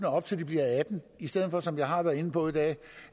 op til de bliver atten i stedet for som jeg har været inde på i dag